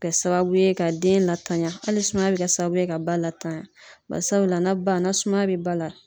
Kɛ sababu ye ka den latanya hali sumaya bɛ kɛ sababu ye ka ba latanya barisabula na ba ni sumaya bɛ ba la